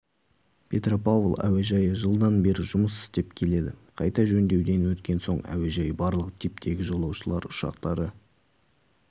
петропавл әуежайы жылдан бері жұмыс істеп келеді қайта жөндеуден өткен соң әуежай барлық типтегі жолаушылар ұшақтары